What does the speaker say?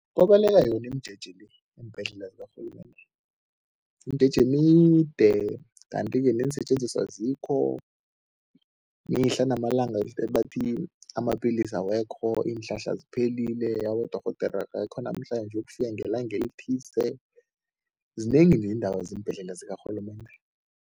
Babaleka yona imijeje le eembhedlela zikarhulumende, imijeje emide kanti-ke neensetjenziswa azikho. Mihla namalanga sebathi amapilisi awekho, iinhlahla ziphelile, abodorhodere abekho namhlanje bayokufika ngelanga elithize, zinengi neendaba zeembhedlela zikarhulumende.